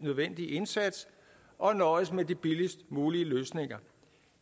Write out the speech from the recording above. nødvendige indsats og nøjes med de billigst mulige løsninger